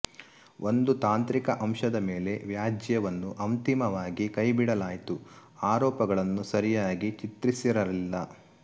ಒಂದು ತಾಂತ್ರಿಕ ಅಂಶದ ಮೇಲೆ ವ್ಯಾಜ್ಯವನ್ನು ಅಂತಿಮವಾಗಿ ಕೈಬಿಡಲಾಯಿತು ಆರೋಪಗಳನ್ನು ಸರಿಯಾಗಿ ಚಿತ್ರಿಸಿರಲಿಲ್ಲ